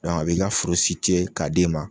a bi ka foro k'a di ma.